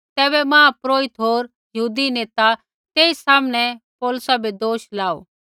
तैबै मुख्यपुरोहिता होर यहूदी नेता तेई सामनै पौलुसै बै दोष लाऊ